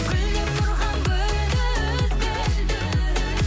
гүлдеп тұрған гүлді үзбе